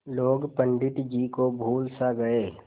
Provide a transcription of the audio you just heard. लोग पंडित जी को भूल सा गये